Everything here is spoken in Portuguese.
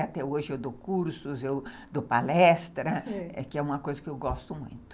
Até hoje, eu dou cursos, eu dou palestras, sei, que é uma coisa que eu gosto muito.